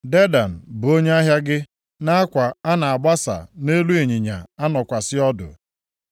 “ ‘Dedan bụ onye ahịa gị nʼakwa a na-agbasa nʼelu ịnyịnya anọkwasị ọdụ.